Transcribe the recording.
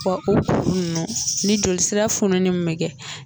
Bɔn o kurunin ninnu ni jolsira fununi minn bɛ kɛ.